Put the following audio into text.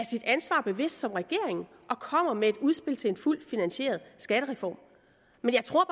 sit ansvar bevidst som regering og kommer med et udspil til en fuldt finansieret skattereform men jeg tror